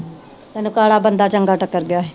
ਕਾਲਾ ਬੰਦਾ ਚੰਗਾ ਟੱਕਰ ਗਿਆ।